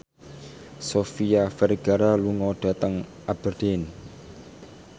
Sofia Vergara lunga dhateng Aberdeen